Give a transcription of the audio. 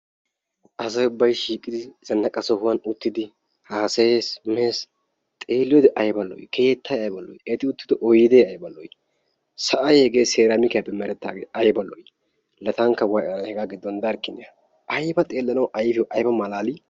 asay ubbay shiiqidizannaqa sohuwan uttidi hasayees, mees, xeliyoode eti uttido keettay aybba lo''i! keettay aybba lo''i! sa'ay hege seramikiyaappe oosetaage aybba lo''i! la tankka way ana eta giddon darikkina aybba xeelanaw ayfiyaaw aybba malali!